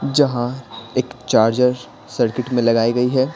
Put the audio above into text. जहां एक charger circuit में लगाई गई है।